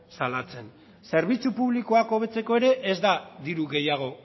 salatzen zerbitzu publikoak hobetzeko ere ez da diru gehiago